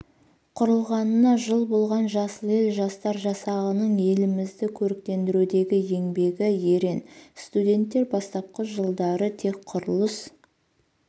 құрылғанына жыл болған жасыл ел жастар жасағының елімізді көріктендірудегі еңбегі ерен студенттер бастапқы жылдары тек құрылыс